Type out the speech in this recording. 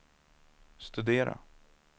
studera